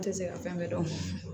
An tɛ se ka fɛn bɛɛ dɔn